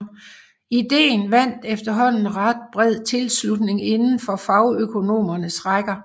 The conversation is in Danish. Ideen vandt efterhånden ret bred tilslutning indenfor fagøkonomernes rækker